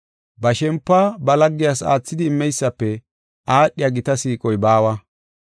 Ba shempuwa ba laggiyas aathidi immeysafe aadhiya gita siiqoy baawa.